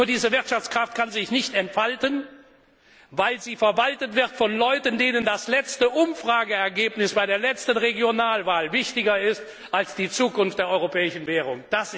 ist. Doch diese Wirtschaftskraft kann sich nicht entfalten, weil sie verwaltet wird von Leuten, denen das letzte Umfrageergebnis für die nächste Regionalwahl wichtiger ist als die Zukunft der europäischen Währung.